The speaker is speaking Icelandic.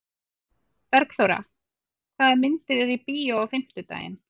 Bergþóra, hvaða myndir eru í bíó á fimmtudaginn?